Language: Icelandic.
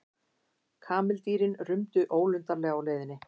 Kameldýrin rumdu ólundarlega á leiðinni.